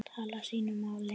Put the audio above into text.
tala sínu máli.